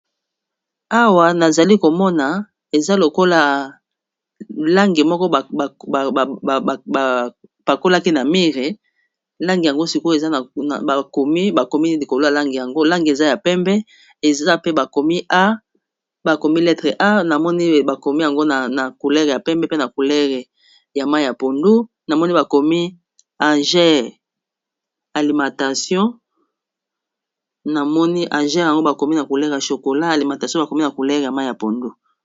Awa nazali komona eza lokola langi moko ba pakolaki na mûre, langi yango sikoyo eza bakomi likolo ya langi yango eza ya pembe eza pe bakomi letre A, namoni bakomi yango na couleur ya pembe pe na couleur ya mayi ya pondu namoni bakomi alimentation namoni AGER ALIMENT, yango bakomi na couleur ya chokola alimentation bakomi na couleur ya mayi ya pondu.